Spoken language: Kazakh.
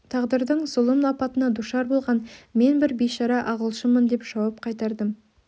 тағдырдың зұлым апатына душар болған мен бір бишара ағылшынмын деп жауап қайтардым